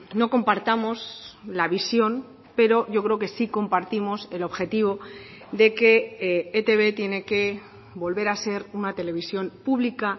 no compartamos la visión pero yo creo que sí compartimos el objetivo de que etb tiene que volver a ser una televisión pública